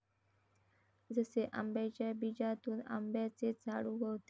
जसे आंब्याच्या बीजातून आंब्याचेच झाड उगवते.